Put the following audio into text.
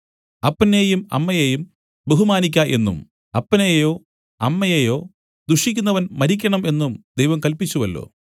അപ്പനെയും അമ്മയെയും ബഹുമാനിയ്ക്ക എന്നും അപ്പനെയോ അമ്മയെയോ ദുഷിക്കുന്നവൻ മരിക്കണം എന്നും ദൈവം കല്പിച്ചുവല്ലോ